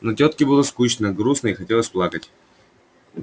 но тётке было скучно грустно и хотелось плакать